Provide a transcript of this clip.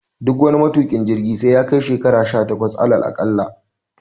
Duk wani matuƙin jirgi dole sai yakai shekara sha takwas alal aɗalla